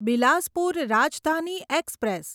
Bilaspur Rajdhani express